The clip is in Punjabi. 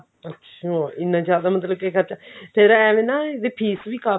ਅੱਛਿਆ ਇੰਨਾ ਜਿਡਾ ਮਤਲਬ ਕਿ ਖਰਚਾ ਤੇਰਾ ਏਵੇਂ ਨਾ ਵੀ fees ਵੀ ਕਾਫੀ